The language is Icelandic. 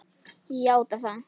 Ég játa það.